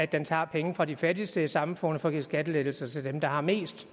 den tager penge fra de fattigste i samfundet for at give skattelettelser til dem der har mest